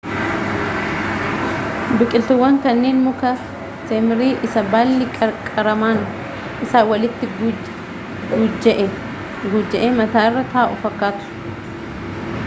biqiltuuwwan kunniin muka teemirii isa baalli qaqqaramaan isaa walitti guujja'ee mataarra taa'u fakkaatu